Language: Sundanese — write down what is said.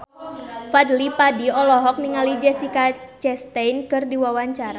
Fadly Padi olohok ningali Jessica Chastain keur diwawancara